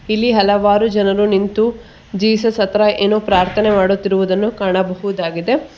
ತಿಳಿ ಹಲವಾರು ಜನರು ನಿಂತು ಜೀಸಸ್ ಹತ್ರ ಏನು ಪ್ರಾರ್ಥನೆ ಮಾಡುತ್ತಿರುವುದನ್ನು ಕಾಣಬಹುದಾಗಿದೆ.